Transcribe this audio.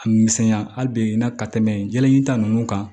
A misɛnya hali bi i na ka tɛmɛ jalaɲita nunnu kan